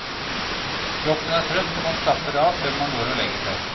Kroppen er trøtt, og man slapper av før man går og legger seg.